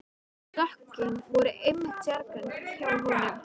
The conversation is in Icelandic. Stökkin voru einmitt sérgrein hjá honum.